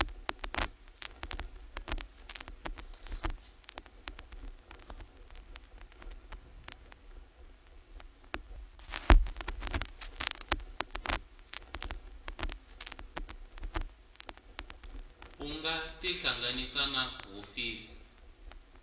u nga tihlanganisa na hofisi